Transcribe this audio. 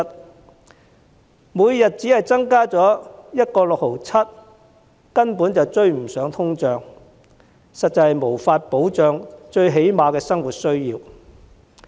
綜援金額每天只增加 1.67 元根本追不上通脹，實在無法保障最基本的生活需要。